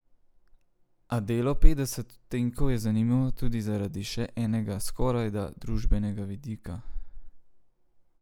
A delo Petdeset odtenkov je zanimivo tudi zaradi še enega, skorajda družbenega vidika.